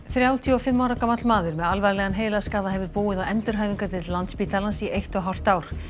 þrjátíu og fimm ára gamall maður með alvarlegan heilaskaða hefur búið á endurhæfingardeild Landspítalans í eitt og hálft ár